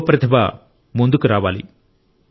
యువ ప్రతిభ ముందుకు రావాలి